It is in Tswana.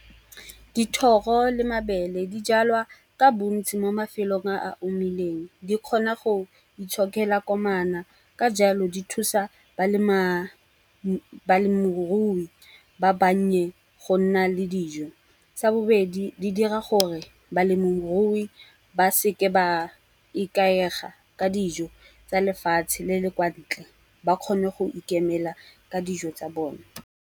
Dithoro le mabele di jalwa ka bontsi mo mafelong a a omileng. Di kgona go itshokela komana ka jalo, di thusa balemirui ba bannye go nna le dijo. Sa bobedi di dira gore balemirui ba seke ba ikaega ka dijo tsa lefatshe le le kwa ntle, ba kgone go ikemela ka dijo tsa bone.